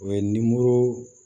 O ye